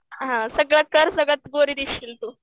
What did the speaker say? हां सगळं कर सगळ्यात गोरी दिसशील तू.